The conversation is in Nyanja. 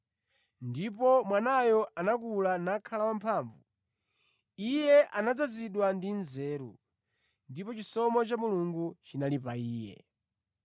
Ndipo Mwanayo anakula nakhala wamphamvu; Iye anadzazidwa ndi nzeru, ndipo chisomo cha Mulungu chinali pa Iye.